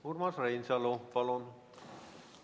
Urmas Reinsalu, palun!